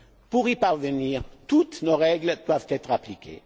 Pour y parvenir, toutes nos règles doivent être appliquées.